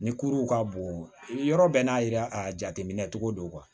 Ni kuruw ka bon yɔrɔ bɛɛ n'a yira a jateminɛ cogo don